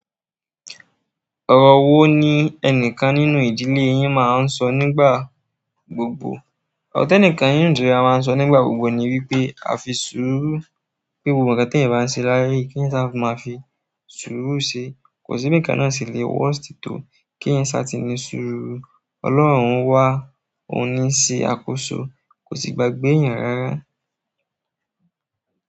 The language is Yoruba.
Ọrọ wo ní ẹnìkan nínú ìdílé yín máa ń sọ nígbà gbogbo? Ọ̀rọ̀ ti ẹnikan nínú ìdílé wa máa ń sọ nígbà gbogbo ni wípé a fi súúrú pé gbogbo nǹkan tí eyan bá ń ṣe láàyè yìí kí eyan ṣa máa fi súúrú ṣe. Kò sí bi nǹkan náà sì le worst to kí eyan ṣá ti ní súúrú. Ọlọ́run wa ò ní n ṣe àkóso, kò sì gbagbé èèyàn rárá.